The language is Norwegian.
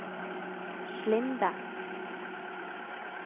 Slinde